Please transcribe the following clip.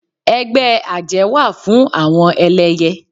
Ẹgbẹ́ àjẹ́ wà fún àwọn ẹlẹyẹ